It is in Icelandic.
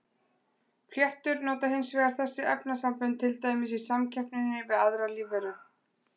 Fléttur nota hins vegar þessi efnasambönd til dæmis í samkeppninni við aðrar lífveru.